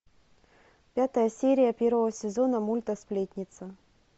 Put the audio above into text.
пятая серия первого сезона мульта сплетница